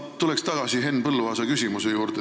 Ma tulen tagasi Henn Põlluaasa küsimuse juurde.